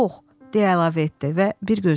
deyə əlavə etdi və bir gözünü qıydı.